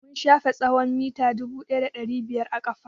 Mun shafe tsawon mita dubu ɗaya da ɗari biyar a ƙafa.